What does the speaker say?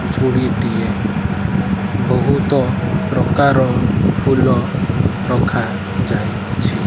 ଝୁଡ଼ି ଟିଏ ବୋହୁତ ପ୍ରକାର ଫୁଲ ରଖା ଯାଇଛି।